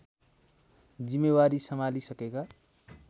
जिम्मेवारी सम्हाली सकेका